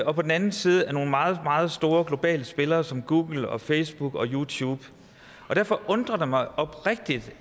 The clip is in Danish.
og på den anden side af nogle meget meget store globale spillere som google og facebook og youtube derfor undrer det mig oprigtigt